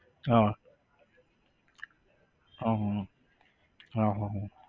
હા હા હા હા હા હા